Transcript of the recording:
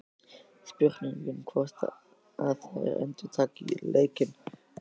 Spurning hvort að þær endurtaki leikinn?